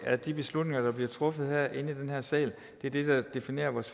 er de beslutninger der bliver truffet herinde i den her sal det er det der definerer vores